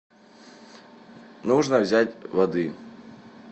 нужно взять воды